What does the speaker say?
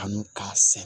Kanu k'a sɛnɛ